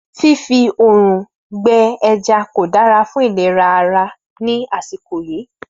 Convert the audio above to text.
Fífi òrùn gbé ẹja kò dára fún ìlera ara ní àsìkò yìí